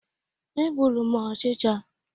E gbụrụ m ochicha.